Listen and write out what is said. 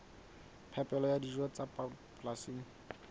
phepelo ya dijo tsa polasing